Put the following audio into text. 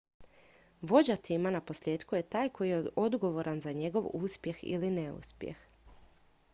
vođa tima naposljetku je taj koji je odgovoran za njegov uspjeh ili neuspjeh